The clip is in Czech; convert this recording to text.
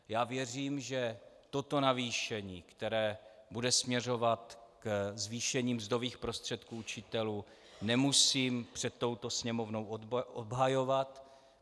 Já věřím, že toto navýšení, které bude směřovat ke zvýšení mzdových prostředků učitelů, nemusím před touto Sněmovnou obhajovat.